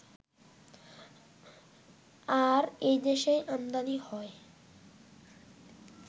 আর দেশেই আমদানি হয়